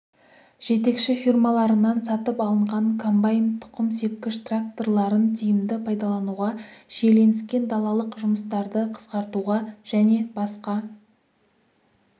жетекші фирмаларынан сатып алынған комбайн тұқым сепкіш тракторларын тиімді пайдалануға шиеленіскен далалық жұмыстарды қысқартуға және басқа